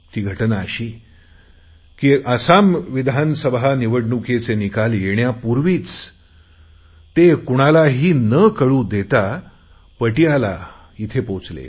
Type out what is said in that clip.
ती घटना अशी की आसाम विधानसभा निवडणूकीचे निकाल येण्यापूर्वी ते कुणालाही कळू न देता पटियाळा येथे पोहोचल